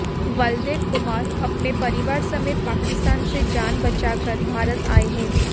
बलदेव कुमार अपने परिवार समेत पाकिस्तान से जान बचाकर भारत आए हैं